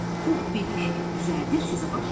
Pux belini düzəldib sözə başladı.